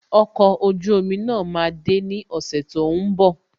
Okọ̀ ojú omi náà máa de ní ọ̀sẹ̀ tó ń bọ̀